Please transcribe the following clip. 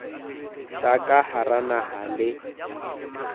tsa ka hara naha le